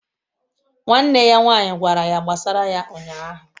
Nwanne ya nwaanyị gwara ya gbasara ya ụnyahụ